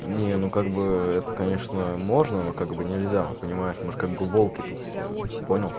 не ну как бы это конечно можно но как бы нельзя понимаешь мы же как бы волки тут все понял